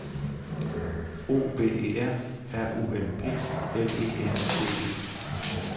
O V E R R U M P L E N D E